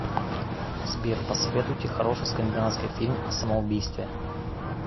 сбер посоветуйте хороший скандинавский фильм о самоубийстве